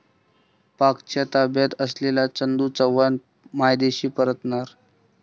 पाकच्या ताब्यात असलेले चंदू चव्हाण मायदेशी परतणार